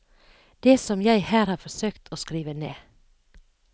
Det som jeg her har forsøkt å skrive ned.